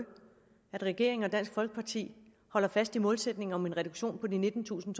regeringen og dansk folkeparti holder fast i målsætningen om en reduktion på nittentusind